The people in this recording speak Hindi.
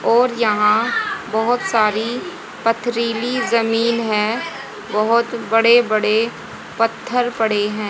और यहाँ बहोत सारी पथरीली जमीन हैं बहोत बड़े बड़े पत्थर पड़े हैं।